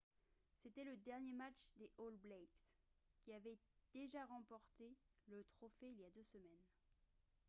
c'était le dernier match des all blacks qui avaient déjà remporté le trophée il y a deux semaines